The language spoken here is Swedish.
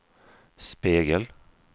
spegel